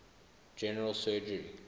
general surgery